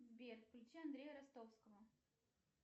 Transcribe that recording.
сбер включи андрея ростовского